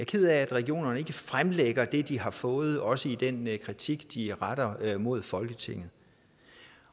ked af at regionerne ikke fremlægger det de har fået også i den kritik de retter mod folketinget